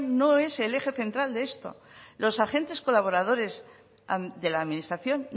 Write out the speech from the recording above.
no es el je central de esto los agentes colaboradores de la administración